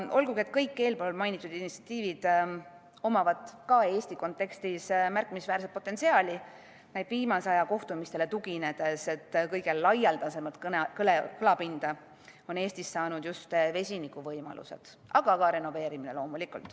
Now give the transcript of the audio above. Olgugi et kõigil eespool mainitud initsiatiividel on ka Eesti kontekstis märkimisväärne potentsiaal, näib viimase aja kohtumistele tuginedes, et kõige laialdasemat kõlapinda on Eestis saanud just vesiniku võimalused, aga ka renoveerimine.